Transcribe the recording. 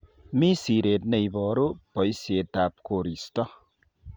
Mi siret ne iboru boishetab koristo.